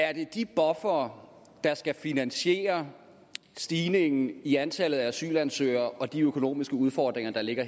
er det de buffere der skal finansiere stigningen i antallet af asylansøgere og de økonomiske udfordringer der ligger